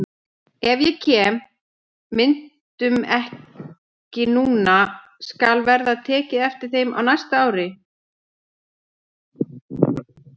Ef ég kem myndunum ekki núna skal verða tekið eftir þeim næsta ár.